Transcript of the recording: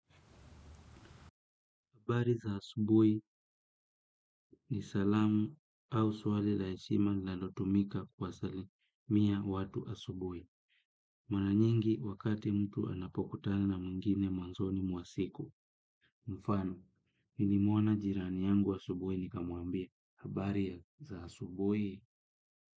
Habari za asubuhi ni salamu au swali la heshima linalotumika kuwasalimia watu asubuhi. Mara nyingi wakati mtu anapokutana mwingine mwanzoni mwa siku. Mfano, nili muona jirani yangu asubuhi nikamwambia. Habari za asubui.